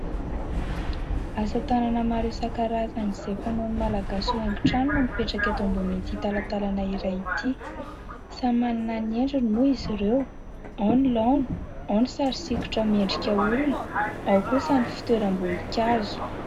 Asa tanana maro isan-karazany izay fanaon'ny malagasy ho haingon-trano no mipetraka eto ambonin'ity talatalana iray ity. Samy manana ny endriny moa izy ireo, ao ny laona, ao ny sary sikotra olona, ary ao kosa ny fitoeram-boninkazo.